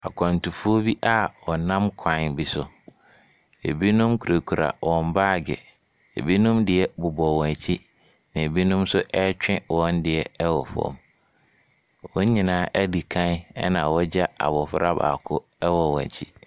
Akwantufoɔ bia wɔ nam kwan bi so, ebinom kura kura baag, ebinom deɛ bobɔ wɔn akyi na ebinom nso twe wɔn deɛ wɔ fam. Wɔn nyinaa adi kan ena wagya abɔfra baako wɔ wɔn akyi.